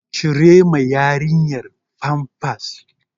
Cire ma yarinyar famfas!